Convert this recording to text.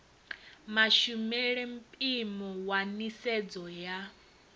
mashumele mpimo wa nisedzo ya